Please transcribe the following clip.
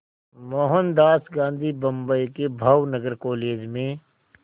मोहनदास गांधी बम्बई के भावनगर कॉलेज में